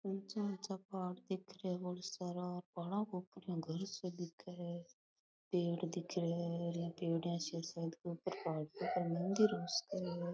ऊंचा ऊंचा पहाड़ दिख रा है बहोत सारा मंदिर हो सके है।